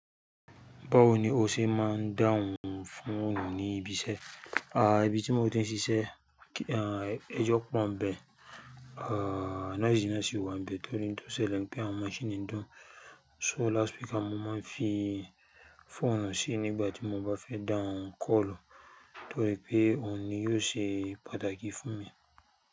Báwo ni o ṣe máa ń dáhùn fóònù ní ibi iṣẹ́? Ibi tí mo ti ń ṣiṣẹ́, ẹjọ́ pọ̀ n bẹ́ẹ̀, noise náà sì wa n bẹ́ẹ̀ torí òun to sele n pé àwọn machine ń dún. So loud speaker mo máa ń fi phone sí nígbà tí mo bá fẹ́ dáhùn call torí pé òun ni yóò ṣe pàtàkì fún mi.